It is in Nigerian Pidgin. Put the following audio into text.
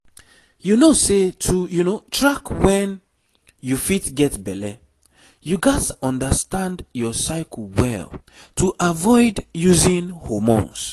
you know say to track when you fit get belle you gats understand your cycle well to avoid using hormones